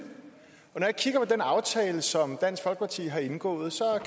og den aftale som dansk folkeparti har indgået